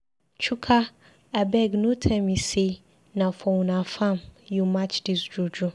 Chuka abeg no tell me say na for una farm you match dis juju.